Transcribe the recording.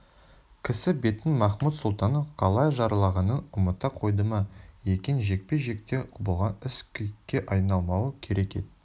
кісі бетін махмуд-сұлтанның қалай жаралағанын ұмыта қойды ма екен жекпе-жекте болған іс кекке айналмауы керек ет